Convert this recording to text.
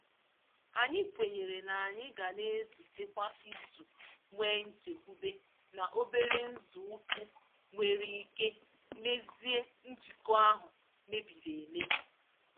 Anyị kwenyere na anyị ga na-ezute kwa izu nwee nchekwube na obere nzọ ụkwụ nwere ike mezie njikọ ahụ mebiri emebi.